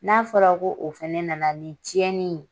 N'a fɔra ko o fɛnɛ na na ni cɛnni ye.